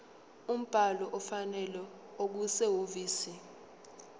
umbhalo ofanele okusehhovisi